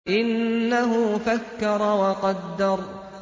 إِنَّهُ فَكَّرَ وَقَدَّرَ